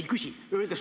Ei küsi!